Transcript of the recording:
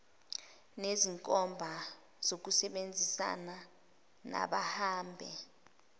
nezinkomba zokusebenzisana nababambe